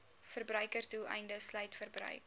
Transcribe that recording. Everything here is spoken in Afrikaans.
verbruiksdoeleindes sluit verbruik